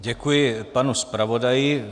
Děkuji panu zpravodaji.